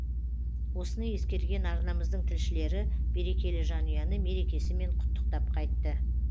осыны ескерген арнамыздың тілшілері берекелі жанұяны мерекесімен құттықтап қайтты